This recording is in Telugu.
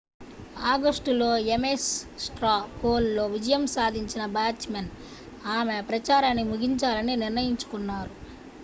ఆగస్టులో ఎమేస్ స్ట్రా పోల్ లో విజయం సాధించిన బాచ్ మన్ ఆమె ప్రచారాన్ని ముగించాలని నిర్ణయించుకున్నారు